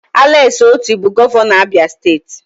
Alex Oti bụ gọvanọ Abia steeti